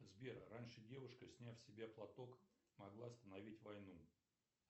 сбер раньше девушка сняв с себя платок могла остановить войну